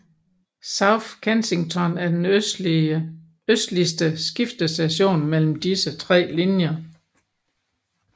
South Kensington er den østligste skiftestation mellem disse tre linjer